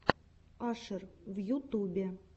ашер в ютюбе